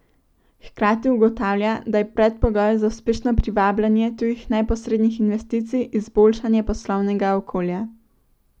Hkrati ugotavlja, da je predpogoj za uspešno privabljanje tujih neposrednih investicij izboljšanje poslovnega okolja.